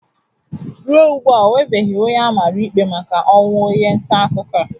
Ruo ugbu a onwebeghi onye a mara ikpe maka ọnwụ onye ntaakụkọ a.